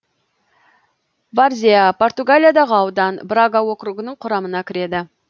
варзеа португалиядағы аудан брага округінің құрамына кіреді